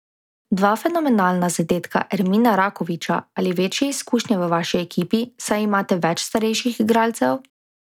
Dva fenomenalna zadetka Ermina Rakoviča ali večje izkušnje v vaši ekipi, saj imate več starejših igralcev?